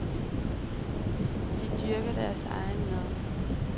De dyrker deres egen mad.